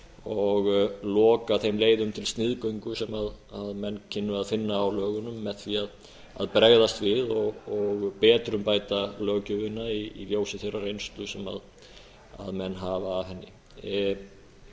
og loka þeim leiðum til sniðgöngu sem menn kynnu að finna á lögunum með því að bregðast við og betrumbæta löggjöfina í ljósi þeirrar reynslu sem menn hafa af henni